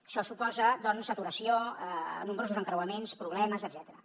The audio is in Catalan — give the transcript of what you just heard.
això suposa doncs saturació nombrosos encreuaments problemes etcètera